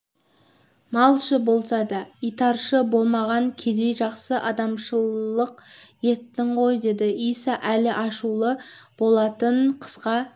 малшы болса да итаршы болмаған кедей жақсы адамшылық еттің ғой деді иса әлі ашулы болатын қысқа